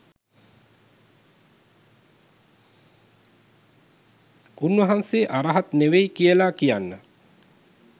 උන්වහන්සේ අරහත් නෙවෙයි කියලා කියන්න